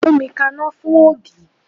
Gbómi kaná fún ògì!